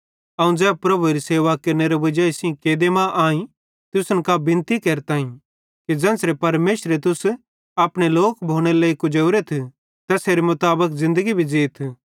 अवं ज़ै प्रभुएरी सेवा केरनेरे वजाई सेइं कैदे मां आईं तुसन कां बिनती केरताईं कि ज़ेन्च़रे परमेशरे तुस अपने लोक भोनेरे लेइ कुजेवरेथ तैसेरे मुताबिक ज़िन्दगी भी ज़ीथ